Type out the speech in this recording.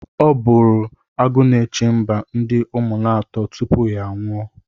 Ọ bụụrụ Agụnechemba ndị Ụmụnatọ tupu ya anwụọ.